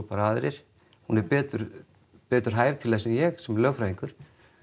aðrir hún er betur betur hæf til þess en ég sem lögfræðingur